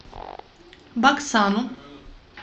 баксану